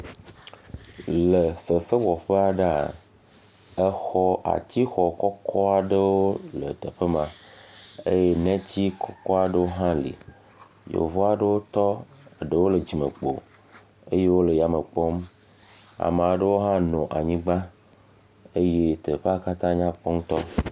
Le fefewɔƒe aɖea, exɔ atixɔ kɔkɔ aɖewo le teƒe ma eye neti kɔkɔwo aɖewo hã le. Yevu aɖewo tɔ, eɖewo le dzimekpo eye wole ya me kpɔm, ame aɖewo hã nɔ anyigba eye teƒea katãa nyakpɔ ŋutɔ.